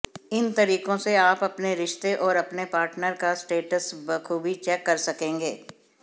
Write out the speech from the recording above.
इन तरीकों से आप अपने रिश्ते और अपने पार्टनर का स्टेटस बखूबी चेक कर सकेंगे